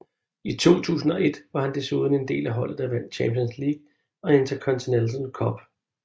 I 2001 var han desuden en del af holdet der vandt Champions League og Intercontinental Cup